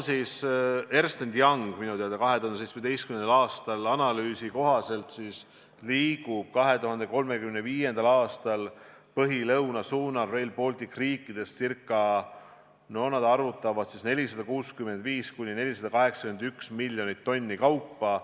Ernst & Youngi 2017. aasta analüüsi kohaselt liigub 2035. aastal Rail Balticu riikides põhja-lõuna suunal 465–481 miljonit tonni kaupa.